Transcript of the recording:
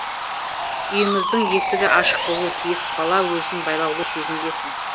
үйіңіздің есігі ашық болу тиіс бала өзін байлаулы сезінбесін